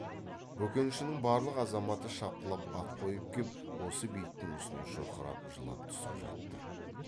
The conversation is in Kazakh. бөкеншінің барлық азаматы шапқылап ат қойып кеп осы бейіттің үстіне шұрқырап жылап түсіп жатты